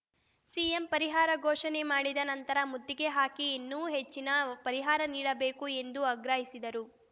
CM ಪರಿಹಾರ ಘೋಷಣೆ ಮಾಡಿದ ನಂತರ ಮುತ್ತಿಗೆ ಹಾಕಿ ಇನ್ನೂ ಹೆಚ್ಚಿನ ಪರಿಹಾರ ನೀಡಬೇಕು ಎಂದು ಆಗ್ರಹಿಸಿದರು